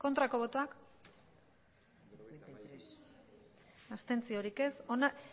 aurkako botoak abstentzioa